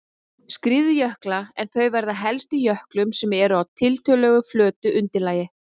skriðjökla en þau verða helst í jöklum sem eru á tiltölulega flötu undirlagi.